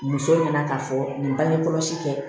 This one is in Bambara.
Muso ɲɛna k'a fɔ nin bangekɔlɔsi kɛ